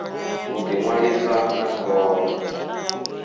u ḓi ṅwalisa na khoro